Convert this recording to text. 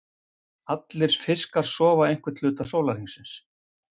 Allir fiskar sofa einhvern hluta sólarhringsins.